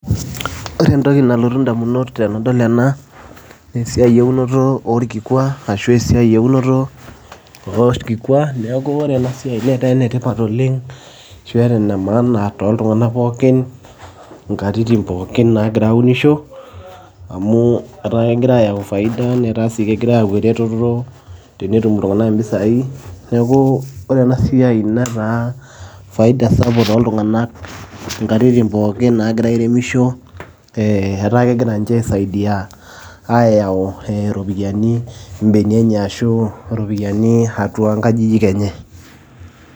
Ore entoki nalotu ndamunot tenadol ena naa esiai eunoto orkikua ashu esiai eunoto orkikua, neeku ore ena siai netaa ene tipat oleng' ashu ene maana tooltung'anak pookin nkatitin pookin naagira aunisho amu etaa kegira ayau faida, netaa sii kegira ayau eretoto tenetum iltung'anak impisai. Neeku ore ena siai netaa faida sapuk tooltung'anak nkaitin pookin naagira airemisho ee etaa kegira nche aisaidia ayau ee iropiani mbenia enye ashu ropiani atua nkajijik enye.